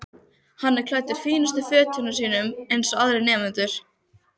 Hann er klæddur fínustu fötunum sínum eins og aðrir nemendur.